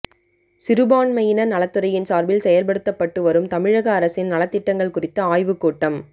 சிறுபான்மையினர் நலத்துறையின் சார்பில் செயல்படுத்தப்பட்டு வரும் தமிழக அரசின் நலத்திட்டங்கள் குறித்த ஆய்வுக்கூட்டம்